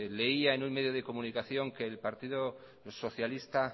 leía en un medio de comunicación que el partido socialista